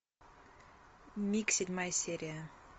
миг седьмая серия